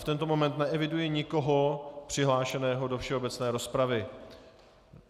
V tento moment neeviduji nikoho přihlášeného do všeobecné rozpravy.